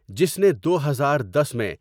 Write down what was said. جس نے دو ہزار دس میں ۔